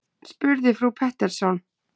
spurði frú Pettersson.